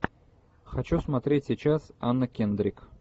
хочу смотреть сейчас анна кендрик